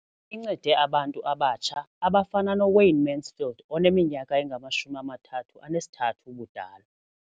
Incede abantu abatsha abafana noWayne Mansfield oneminyaka engama-33 ubudala.